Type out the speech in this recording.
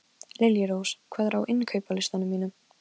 Liljurós, hvað er á innkaupalistanum mínum?